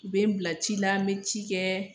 U bɛ n bila ci la ,n bɛ ci kɛ.